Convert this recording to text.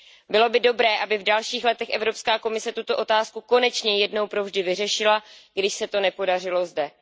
Bylo by dobré, aby v dalších letech Evropská komise tuto otázku konečně jednou provždy vyřešila, když se to nepodařilo zde.